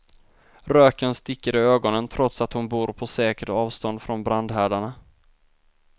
Röken sticker i ögonen trots att hon bor på säkert avstånd från brandhärdarna.